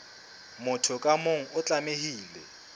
motho ka mong o tlamehile